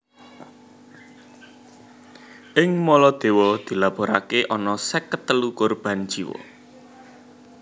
Ing Maladewa dilapuraké ana seket telu korban jiwa